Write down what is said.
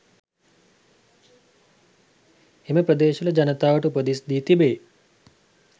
එම ප්‍රදේශවල ජනතාවට උපදෙස් දී තිබේ.